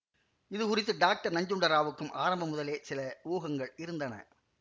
இதுகுறித்து டாக்டர் நஞ்சுண்டராவுக்கும் ஆரம்பம் முதலே சில ஊகங்கள் இருந்தன